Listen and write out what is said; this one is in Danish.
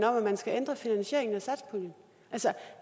om at man skal ændre finansieringen